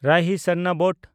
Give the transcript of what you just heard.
ᱨᱟᱦᱤ ᱥᱟᱨᱱᱚᱵᱚᱛ